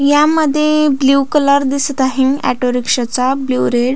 या मध्ये blue colour दिसत आहे ऑटोरिक्षा चा ब्लू रेड .